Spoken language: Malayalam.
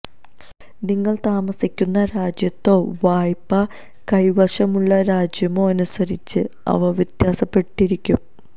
നിങ്ങൾ താമസിക്കുന്ന രാജ്യത്തോ വായ്പ കൈവശമുള്ള രാജ്യമോ അനുസരിച്ച് അവ വ്യത്യാസപ്പെട്ടിരിക്കും